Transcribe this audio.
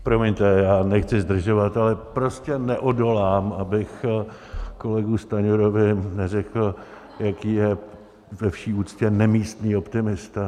Promiňte, já nechci zdržovat, ale prostě neodolám, abych kolegovi Stanjurovi neřekl, jaký je ve vší úctě nemístný optimista.